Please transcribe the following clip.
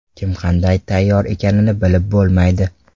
Kim qanday tayyor ekanini bilib bo‘lmaydi.